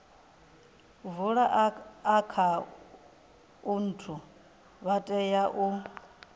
vula akhaunthu vha tea u